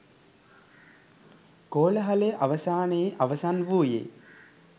කෝලාහලය අවසානයේ අවසන් වූයේ